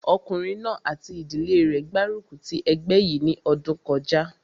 Ọkùnrin náà àti ìdílé rẹ̀ gbárùkù ti ẹgbẹ́ yìí ní ọdún kọjá